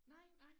Nej nej